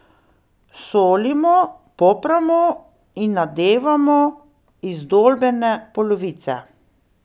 Solimo, popramo in nadevamo izdolbene polovice.